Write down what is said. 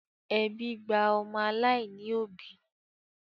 Ẹbí gba ọmọ aláìní òbí